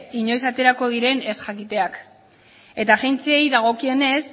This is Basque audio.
inoiz aterako diren ez jakiteak eta agentziei dagokienez